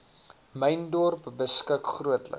myndorp beskik grootliks